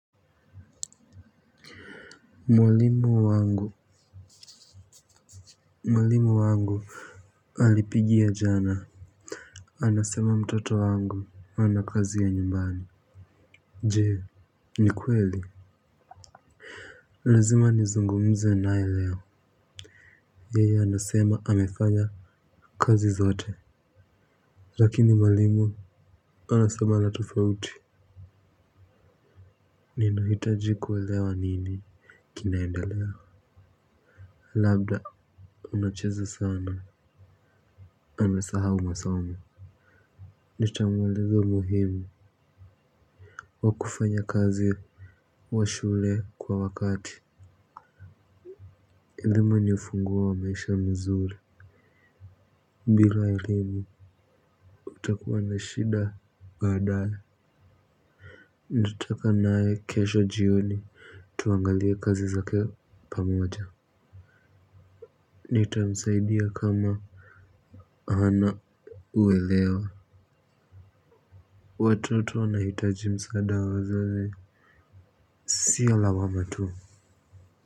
Mwalimu wangu mwalimu wangu alipigia jana. Anasema mtoto wangu hana kazi ya nyumbani. Je, ni kweli? Lazima nizungumze naye leo. Yeye anasema amefanya kazi zote. Lakini mwalimu anasema la tofauti. Ninahitaji kuelewa nini kinaendelea. Labda unacheza sana amesahau masomo. Nitamweleza umuhimu wakufanya kazi washule kwa wakati elimu ni ufunguo wa maisha mzuri bila elimu utakuwa na shida baadae ndo taka nae kesho jioni tuangalie kazi zake pamoja nitamisaidia kama ana uelewa watoto wana hitaji msaada wa wazazi sio lawama tu.